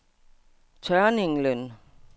Tørninglen